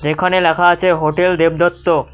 এখানে লেখা আছে হোটেল দেবদত্ত।